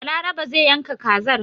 Balarabe zai yanka kazar.